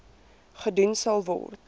gedoen sal word